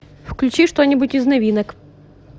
включи что нибудь из новинок